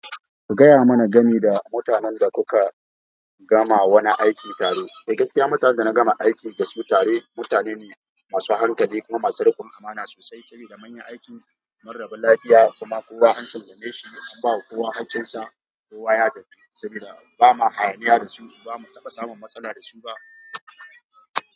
Ka gaya mana game da mutanen da kuka gama wani aiki tare. Eh gaskiya, mutanen da na gama aiki dasu tare mutane ne masu hankali kuma masu riƙon amana sosai. Saboda munyi aiki, mun rabu lafiya kuma kowa an sallame shi, an bawa kowa haƙƙin sa, kowa ya tafi saboda ba ma hayaniya da su. Ba mu saba samun matsala da su ba.